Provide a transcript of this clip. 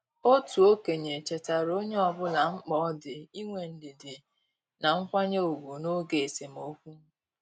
Otu okenye chetaara onye ọbụla mkpa ọ dị inwe ndidi na nkwanye ùgwù n' oge esemokwu.